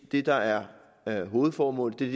det der er hovedformålet det er